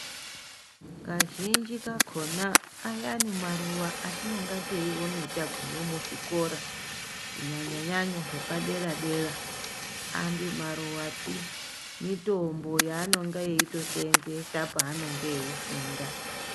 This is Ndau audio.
Kazhinji kacho na ayani maruwa atinonga teyiona taguma muzvikora zvepadera dera handi maruwa pi mitombo yaanonga eyito seenzesa paanonga eyito funda.